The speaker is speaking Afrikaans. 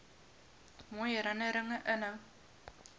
mooi herinnerings inhou